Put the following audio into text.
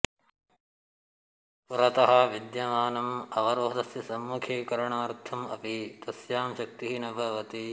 पुरतः विद्यमानम् अवरोधस्य सम्मुखीकरणार्थम् अपि तस्यां शक्तिः न भवति